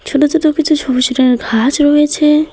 ছোট ছোট কিছু সবুজ রঙের ঘাস রয়েছে।